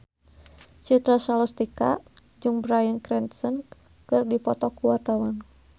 Citra Scholastika jeung Bryan Cranston keur dipoto ku wartawan